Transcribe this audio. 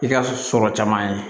I ka sɔrɔ caman ye